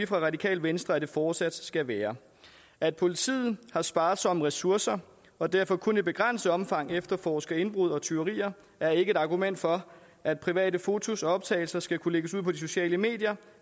radikale venstre at det fortsat skal være at politiet har sparsomme ressourcer og derfor kun i begrænset omfang efterforsker indbrud og tyverier er ikke et argument for at private fotos og optagelser skal kunne lægges ud på de sociale medier